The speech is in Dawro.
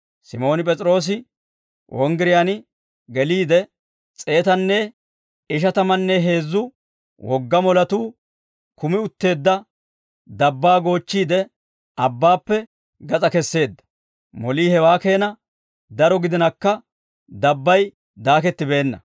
Simooni P'es'iroose wonggiriyaan geliide, s'eetanne ishatamanne heezzu wogga moletuu kumi utteedda dabbaa goochchiide, abbaappe gas'aa kesseedda; molii hewaa keena daro gidinakka dabbay daakettibeenna.